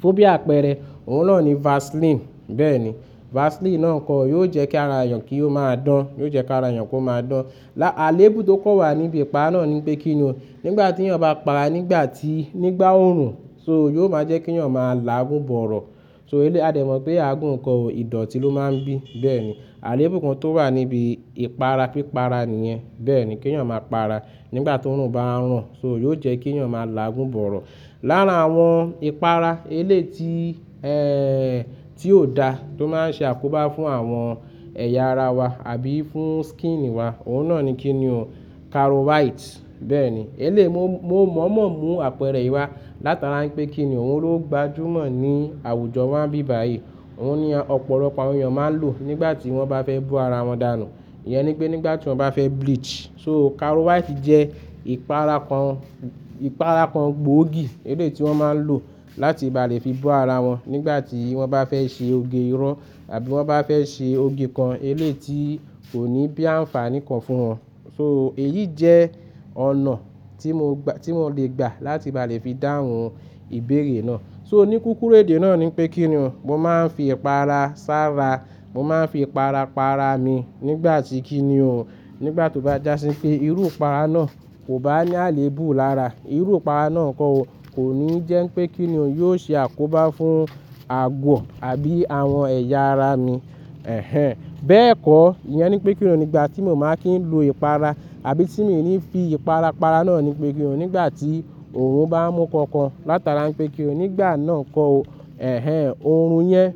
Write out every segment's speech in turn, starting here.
Tó bí àpẹẹrẹ òun náà ni Vaseline. Bẹ́ẹ̀ni, Vaseline náà ńkọ yóò jẹ́ kí ara ènìyàn kí ó máa dán. Yóò jẹ́ kí ara ènìyàn kó máa dán. Là á lèèbù tó kọ́ wà níbi ìpara náà ni pé kíni o, nígbà tí ènìyàn bá para nígbà tí nígbà ó ń rùn so yóò máa jẹ́ kí ẹ̀yàn máa láàgùn bọ̀rọ̀. So eléè a dẹ̀ mọ̀ pé àgùn ǹkọ ò ìdọ̀tí ló máa ń bí. Bẹ́ẹ̀ni, àlẹ́èbù kan tó wà níbi ìpara pípara nìyẹn. Bẹ́ẹ̀ni, kí ẹ̀yàn máa para nígbà tí òórùn bá ń rọ̀, so yóò jẹ́ kí ẹ̀yàn máa láàgùn bọ̀rọ̀. Lára àwọn ìpara eléè tí, ẹ́ẹ́, tí ò dá tó máa ń ṣe àkóbá fún àwọn ẹ̀yà ara wa àbí fún skin wa, òun náà ni kíni o caro white. Bẹ́ẹ̀ni, eléè mo mo mọ̀ọ́mọ̀ mú àpẹẹrẹ yìí wá látara ń pé kíni o òun ló gbajúmọ̀ ní àwùjọ wáa ń bí báyìí. Òun ni ọ̀pọ̀lọpọ̀ àwọn ènìyàn máa ń lò nígbà tí wọ́n bá fẹ́ bú ara wọn dànù. Ìyẹn ni pé nígbà tí wọ́n bá fẹ́ bleach. So caro white jẹ́ ìpara kan ìpara kan gbòógì eléè tí wọ́n máa ń lò láti ba lè fi bo ara wọn nígbà tí wọ́n bá fẹ́ ṣe oge irọ àbí wọ́n bá fẹ́ ṣe òge kan eléè tí kò ní bí ànfààní kan fún wọn. So èyí jẹ́ ọ̀nà tí mo gbà tí mo lè gbà láti ba lè fi dáhùn ìbéèrè náà. So oníkíkúru èdè náà ni pé kíni o, mo máa ń fi ìpara sára. Mo máa ń fi ìpara para mi nígbà tí kíni o, nígbà tí ó bá já sí pé irú ìpara náà kò bá ní àlẹ́èbù lára. Irú ìpara náà ńkọ ó kò ní jẹ́ pé kíni o yóò ṣe àkóbá fún àgwọ̀ àbí àwọn ẹ̀yà ara mi. Ẹ̀hen. Bẹ́ẹ̀ kọ́, ìyẹn ni pé kíni o nígbà tí mo máa kí ń lo ìpara àbí tí mi ò ní fi ìpara para náà ni pé kíni o nígbà tí òórùn bá ń mú kankan látara ń pé kíni o nígbà náà kọ́ ọ. Ẹ̀hen, òórùn yẹn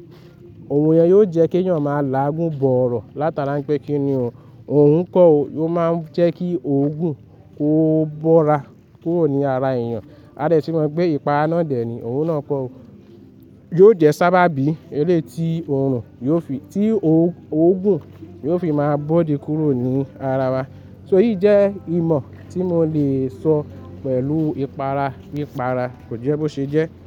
òórùn yẹn yóò jẹ́ kí eyàn máa láàgùn bọ̀rọ̀ látara ń pé kíni o, òorun kọ́ ọ yóò máa ń jẹ́ kí òógùn ó bóra kúrò ní ara ènìyàn. A lè sì mọ̀ pé ìpara náà dẹ̀ ni òun náà kọ́ ọ. Yóò jẹ́ sábàbí eléè tí òórùn yóò fi tí òógùn yóò fi máa bóde kúrò ní ara wa. So eyìí jẹ́ ìmọ̀ tí mo lè sọ pẹ̀lú ìpara pípara. Kò jẹ́ bó ṣe jẹ́.